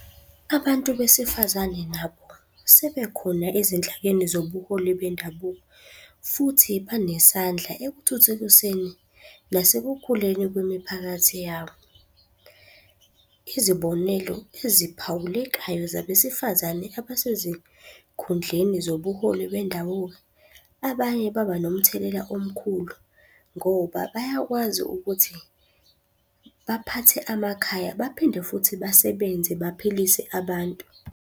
Abantu besifazane nabo, sebekhona ezinhlakeni zobuholi bendabuko, futhi banesandla ekuthuthukiseni nasekukhuleni kwemiphakathi yabo. Izibonelo eziphawulekayo zabesifazane abasezikhundleni zobuholi bendawo. Abanye baba nomthelela omkhulu ngoba bayakwazi ukuthi, baphathe amakhaya baphinde futhi basebenze baphilise abantu.